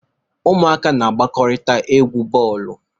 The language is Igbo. Ụmụaka na-agbakọrita egwu bọọlụ.